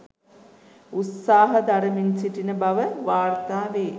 උත්සාහ දරමින් සිටින බව වාර්තා වේ.